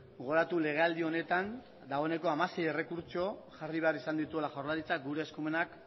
gogoratu legealdi honetan dagoeneko hamasei errekurtso jarri behar izan dituela jaurlaritzak gure eskumenak